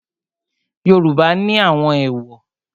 Yoruba ni àwọn èwò.